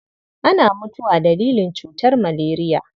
Ana mutuwa dalilin cutar maleriya.